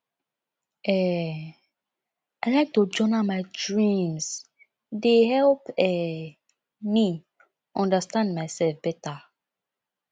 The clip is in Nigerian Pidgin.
um i like to journal my dreams e dey help um me understand myself better